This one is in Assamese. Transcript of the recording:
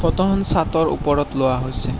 ফটোখনত চাতৰ ওপৰত লোৱা হৈছে।